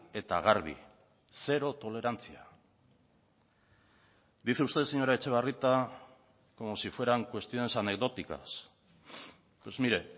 eta garbi zero tolerantzia dice usted señora etxebarrieta como si fueran cuestiones anecdóticas pues mire